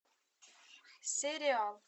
сериал